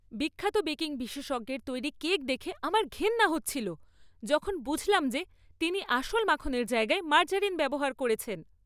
বিখ্যাত বেকিং বিশেষজ্ঞের তৈরি কেক দেখে আমার ঘেন্না হচ্ছিল, যখন বুঝলাম যে তিনি আসল মাখনের জায়গায় মার্জারিন ব্যবহার করেছেন।